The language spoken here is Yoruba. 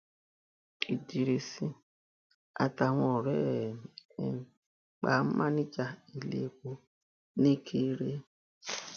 idris àtàwọn ọrẹ ẹ um pa máníjà iléepo nìkire